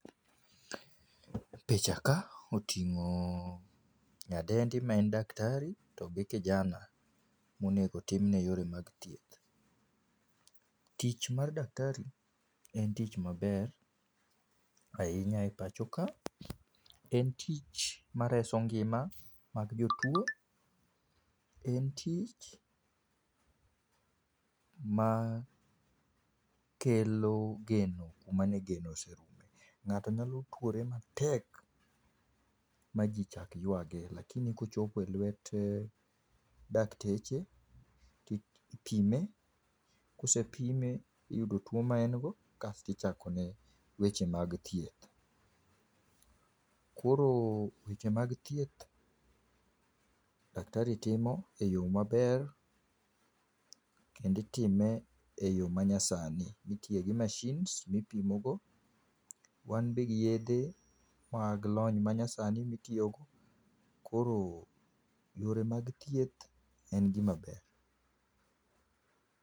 Picha ka otingo nyadendi ma en daktari togi kijana monego otimne yore mag thieth. Tich mar daktari en tich maber ahinya e pachoka, en tich mareso ngima mag jotuo. En tich ma kelo geno kumane geno oserume, ngato nyalo tuore matek ma jii chak yuage lakini ka ochopo e lwet dakteche to ipime ka osepime tiyudo tuo maen go kasto ichakone weche mag thieth. Koro weche mag thieth daktari timo e yo maber kendo itime e yoo manyasani mitiye gi mashins mipimo go, wan be gi yedhe mag lony manyasani mitiyo go, koro yore mag thieth en gima ber